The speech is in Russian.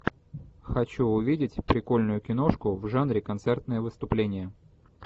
хочу увидеть прикольную киношку в жанре концертное выступление